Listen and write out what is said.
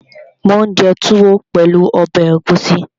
Mò ún jẹ túwó pẹ̀lú ọbẹ̀ ẹ̀gúsí